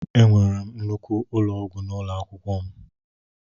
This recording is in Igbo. Enwere m nnukwu ụlọ ọgwụ n'ụlọ akwụkwọ m.